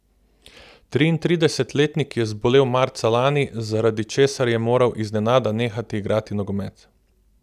Triintridesetletnik je zbolel marca lani, zaradi česar je moral iznenada nehati igrati nogomet.